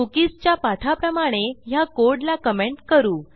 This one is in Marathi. कुकीज च्या पाठाप्रमाणे ह्या कोडला कमेंट करू